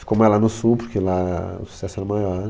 Ficou mais lá no sul, porque lá o sucesso era maior.